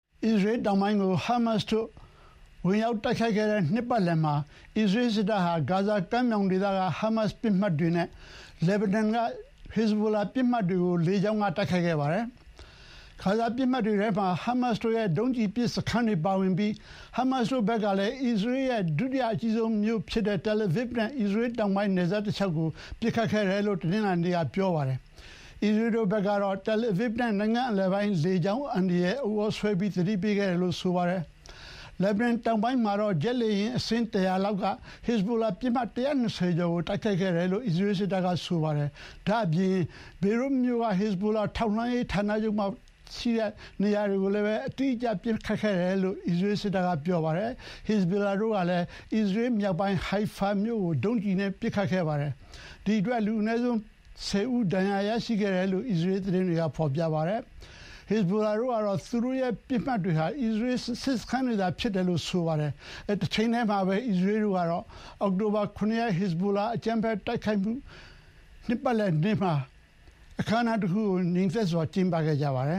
အစ္စရေးတောင်ပိုင်းကို ဟာမတ်စ်တို့ဝင်ရောက်တိုက်ခိုက်ခဲ့တဲ့နှစ်ပတ်လည်မှာ အစ္စရေးစစ်တပ်ဟာ ဂါဇာကမ်းမြောင်ဒေသက ဟာမတ်စ်ပစ်မှတ်တွေနဲ့ လက်ဘနွန်က ဟက်ဇဘိုလာပစ်မှတ်တွေကို လေကြောင်းက တိုက်ခိုက်ခဲ့ပါတယ်။ ဂါဇာပစ်မှတ်တွေထဲမှာ ဟာမတ်စ်တို့ရဲ့ ဒုံးကျည်ပစ်စခန်းတွေ ပါဝင်ပြီး ဟာမတ်စ်တို့ဘက်ကလည်း အစ္စရေးရဲ့ ဒုတိယအကြီးဆုံးမြို့ဖြစ်တဲ့ Tel Aviv နဲ့ အစ္စရေး တောင်ပိုင်းနယ်စပ်တလျှောက်ကို ပစ်ခတ်ခဲ့တယ်လို့ တနင်္လာနေ့က ပြောပါတယ်။ အစ္စရေးတို့ဘက်ကတော့ Tel Aviv နဲ့ နိုင်ငံအလယ်ပိုင်း လေကြောင်းအန္တရာယ် ဥသြဆွဲပြီး သတိပေးခဲ့တယ်လို့ဆိုပါတယ်။ လက်ဘနွန်တောင်ပိုင်းမှာတော့ ဂျက်လေယာဥ်အစင်း ၁၀၀ လောက်က ဟက်ဇဘိုလာပစ်မှတ် ၁၂၀ ကျော်ကို တိုက်ခိုက်ခဲ့တယ်လို့ အစ္စရေးစစ်တပ်က ဆိုပါတယ်။ ဒါ့အပြင် ဘေရွတ်မြို့က ဟစ်ဇဘိုလာထောက်လှမ်းရေးဌာနချုပ်တွေရှိတဲ့ နေရာအတိအကျကို ပစ်ခတ်ခဲ့တယ်လို့ အစ္စရေးစစ်တပ်က ပြောပါတယ်။ ဟက်ဇဘိုလာတို့ကလည်း အစ္စရေးမြောက်ပိုင်း Haifa မြို့ကို ဒုံးကျည်နဲ့ပစ်ခတ်ခဲ့ပါတယ်။ ဒီအတွက် လူအနည်းဆုံး ၁၀ ဦး ဒဏ်ရာရရှိခဲ့တယ်လို့ အစ္စရေး သတင်းတွေက ဖော်ပြပါတယ်။ ဟက်ဇဘိုလာဘက်ကတော့ သူတို့ရဲ့ပစ်မှတ်ဟာ အစ္စရေး စစ်စခန်းဖြစ်တယ်လို့ ဆိုပါတယ်။ တချိန်တည်းမှာပဲ အစ္စရေးတို့ကတော့ အောက်တိုဘာ ၇ ရက် ဟစ်ဇဘိုလာအကြမ်းဖက်တိုက်ခိုက်မှု နှစ်ပတ်လည်နေ့မှာ အခမ်းအနားတခုကို ငြိမ်သက်စွာကျင်းပခဲ့ပါတယ